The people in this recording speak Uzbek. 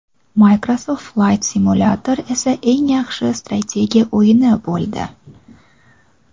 Microsoft Flight Simulator esa eng yaxshi strategiya o‘yini bo‘ldi.